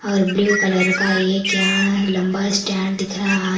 और blue colour का एक यहां लंबा स्टैंड दिख रहा --